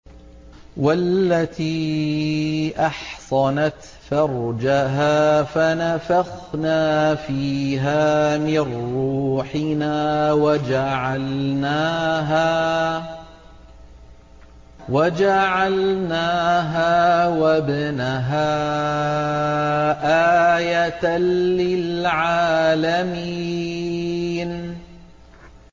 وَالَّتِي أَحْصَنَتْ فَرْجَهَا فَنَفَخْنَا فِيهَا مِن رُّوحِنَا وَجَعَلْنَاهَا وَابْنَهَا آيَةً لِّلْعَالَمِينَ